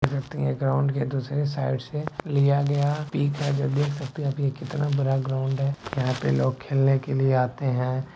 देख सकते है ग्राउंड के दूसरे साइड से लिया गया पिक है जो देख सकते है की ये कितना बड़ा ग्राउंड है यहाँ पे लोग खेलने के लिए आते है।